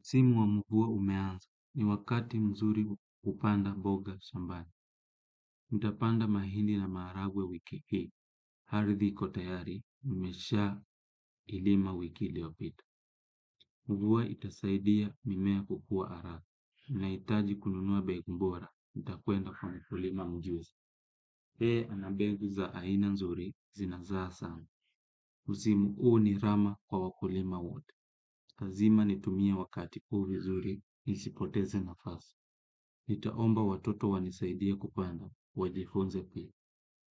Msmu wa mvua umeanza ni wakati mzuri kupanda mboga shambani. Nitapanda mahindi na maharagwe wiki hii. Ardhi iko tayari, mmeshailima wiki iliopita. Mvua itasaidia mimea kukua haraka. Nahitaji kununua mbegu bora, nitakwenda kwa mkulima mjuzi. Yeye ana mbegu za aina nzuri. Zinazaa sana. Msimu huu ni rama kwa wakulima wote. Lazima nitumie wakati huu vizuri, nisipoteze nafasi. Nitaomba watoto wanisaidir kupanda, wajifunze pia.